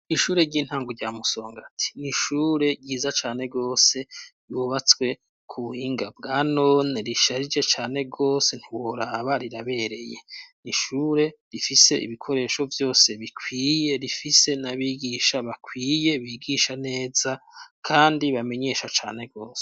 Ishure ry'intango rya Musongati n’ishure ryiza cane gose ibubatswe ku buhinga bwa none risharije cane rwose ntiworaba rirabereye, ni ishure rifise ibikoresho byose bikwiye rifise n'abigisha bakwiye bigisha neza kandi bamenyesha cane rwose.